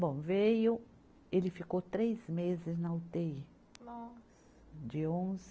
Bom, veio, ele ficou três meses na utêi. Nossa. De onze